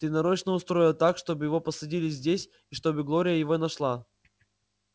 ты нарочно устроил так чтобы его посадили здесь и чтобы глория его нашла